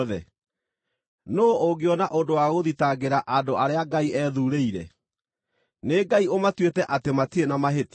Nũũ ũngĩona ũndũ wa gũthitangĩra andũ arĩa Ngai ethuurĩire? Nĩ Ngai ũmatuĩte atĩ matirĩ na mahĩtia.